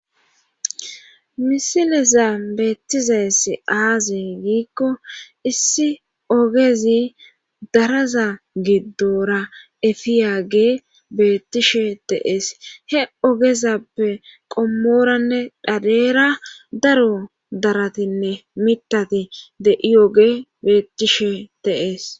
Misileza beettizaes aaze giikko issi ogezi daraza giddora efiyage beettishe teees he ogezappe qommoranne dhadeera daro daratinne mitati de7iyoge beettishe deees.